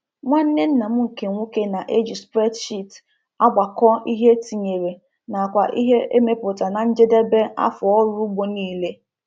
Nwanne nna m nke nwoke na-eji spreadsheet agbakọọ ihe e tinyere nakwa ihe emepụta na njedebe afọ ọrụ ugbo niile